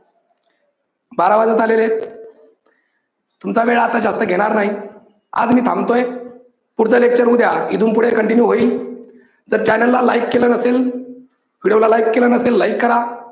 बारा वाजत आलेले आहेत, तुमचा वेळ आता जास्त घेणार नाही. आज मी थांबतोय, पुढचं lecture उद्या इथून पुढे continue होईल. तर channel ला like केलं नसेल video ला like केलं नसेल like करा.